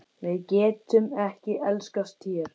Við getum ekki elskast hér.